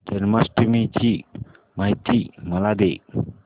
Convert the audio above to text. जन्माष्टमी ची माहिती मला दे